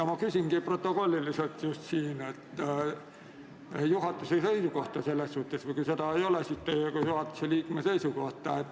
Ma küsingi, et milline on selles asjas juhatuse seisukoht, või kui seda ei ole, siis milline on teie kui juhatuse liikme seisukoht.